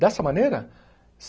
Dessa maneira?